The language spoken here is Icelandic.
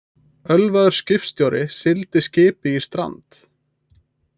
Ölvaður skipstjóri sigldi skipi í strand